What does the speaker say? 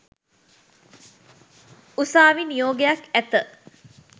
උසාවි නියෝගයක් ඇත